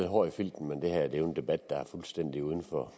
hård i filten men det her er jo en debat der er fuldstændig uden for